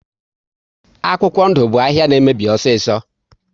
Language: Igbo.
Akwụkwọ ndụ bụ ahịa na emebi osiso